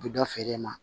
U bɛ dɔ feere ma